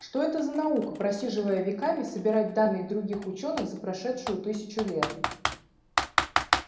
что это за наука просиживая веками собирать данные других учёных за прошедшую тысячу лет